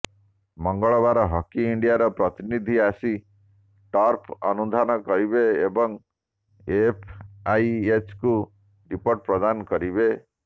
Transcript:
ମଙ୍ଗଳବାର ହକି ଇଣ୍ଡିଆର ପ୍ରତିନିଧି ଆସି ଟର୍ଫ ଅନୁଧ୍ୟାନ କରିବେ ଏବଂ ଏଫଆଇଏଚ୍କୁ ରିପୋର୍ଟ ପ୍ରଦାନ କରିବେ